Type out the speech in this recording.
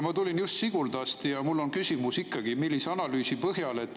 Ma tulin just Siguldast ja mul on ikkagi küsimus.